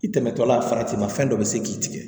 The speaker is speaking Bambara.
I tɛmɛtɔ la faratima fɛn dɔ bɛ se k'i tigɛ